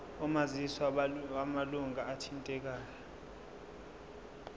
omazisi wamalunga athintekayo